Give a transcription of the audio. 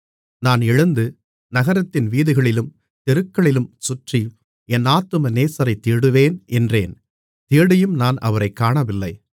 நான் எழுந்து நகரத்தின் வீதிகளிலும் தெருக்களிலும் சுற்றி என் ஆத்தும நேசரைத் தேடுவேன் என்றேன் தேடியும் நான் அவரைக் காணவில்லை